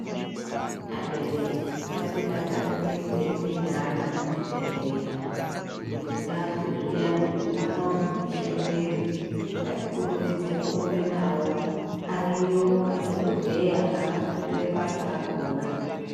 Abereki ngatidakarire kuende neana kuchibhedhlera kuti tazwe zviyani kuti mwana urikupishe muviri, ngatikurumidze kurumbe navo. Ariyo madhokodheya akafundire basa rakona.